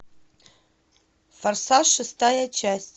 форсаж шестая часть